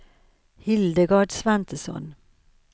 Hildegard Svantesson